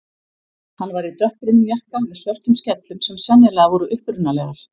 Hann var í dökkbrúnum jakka með svörtum skellum sem sennilega voru upprunalegar.